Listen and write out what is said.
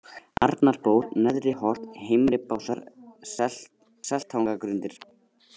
Arnarból, Neðriholt, Heimri-Básar, Seltangagrundir